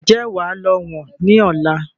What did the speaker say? Ǹjẹ́ wà lọ wọ̀n ni ọ̀la?